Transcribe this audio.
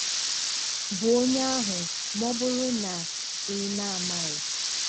bụ onye ahụ, ma ọ bụrụ na ị̀ na-amaghị.